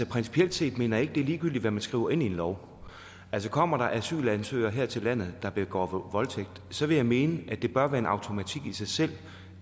principielt set mener jeg det er ligegyldigt hvad man skriver ind i en lov altså kommer der asylansøgere her til landet der begår voldtægt så vil jeg mene at det bør være en automatik i sig selv